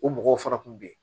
O mɔgɔw fana kun bɛ yen